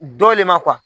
Dɔ le ma